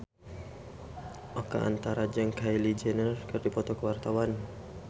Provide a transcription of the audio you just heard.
Oka Antara jeung Kylie Jenner keur dipoto ku wartawan